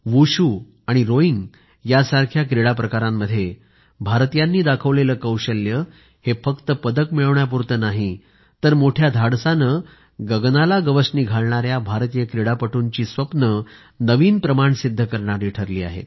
wushu आणि rowing यासारख्या क्रीडाप्रकारांमध्ये भारतीयांनी दाखवलेलं कौशल्य फक्त पदक मिळवण्यापुरते नाही तर मोठ्या धाडसाने गगनाला गवसणी घालणाऱ्या भारतीय क्रीडापटूंची स्वप्ने नवीन प्रमाण सिद्ध करणारी ठरली आहेत